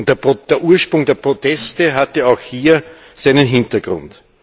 Der Ursprung der Proteste hatte auch hier seinen Hintergrund.